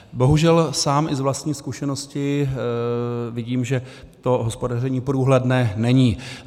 Bohužel sám i z vlastní zkušenosti vidím, že to hospodaření průhledné není.